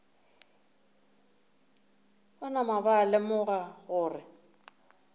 ba napa ba lemoga gore